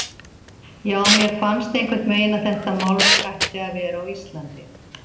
Já, mér fannst einhvern veginn að þetta málverk ætti að vera á Íslandi.